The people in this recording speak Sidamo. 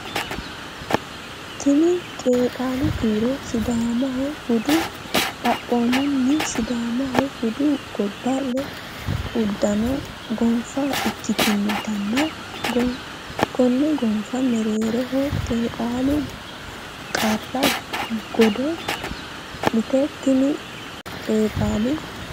Tini qeexaalu kiiro Sidaamaho budu Xaphoomunni Sidaamaho budu godo le uddano gonfa ikkitinotanna konne gonfa mereero qeexaalu qara godo leeti Tini qeexaalu.